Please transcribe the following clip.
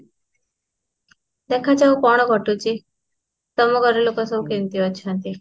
ଦେଖ ଅଜୁ କଣ ଘଟୁଛି ତମ ଘର ଲୋକ ସବୁ କେମିତି ଅଛନ୍ତି?